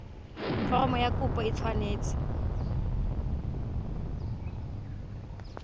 foromo ya kopo e tshwanetse